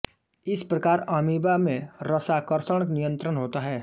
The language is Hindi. इस प्रकार अमीबा में रसाकर्षण नियत्रंण होता है